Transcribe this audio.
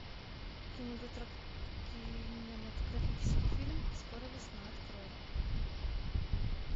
кинематографический фильм скоро весна открой